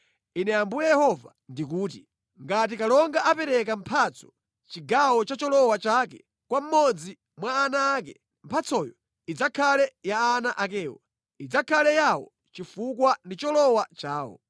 “ ‘Ine Ambuye Yehova ndikuti: Ngati kalonga apereka mphatso chigawo cha cholowa chake kwa mmodzi mwa ana ake, mphatsoyo idzakhala ya ana akewo. Idzakhala yawo chifukwa ndi cholowa chawo.